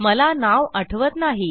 मला नाव आठवत नाही